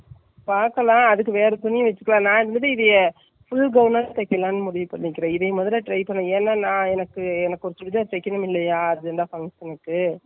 பாக்கலாம் அதுக்கு வேற துணி வச்சிக்கலைன்னா முடியலையே. full gown ஆ தைக்கலாம்னு முடிவு பண்ணி இருக்கேன், இதை மோதலை try பண்ணி ஏன்னா நான் என்னக்கு, ஒரு சுடிதார் தைக்கணும் இல்லையா function க்கு.